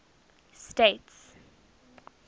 states